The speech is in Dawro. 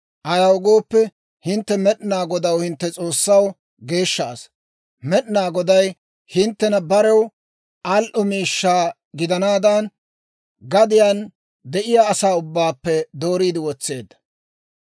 Ayaw gooppe, hintte Med'inaa Godaw, hintte S'oossaw, geeshsha asaa; Med'inaa Goday hinttena barew al"o miishshaa gidanaadan, gadiyaan de'iyaa asaa ubbaappe dooriide wotseedda.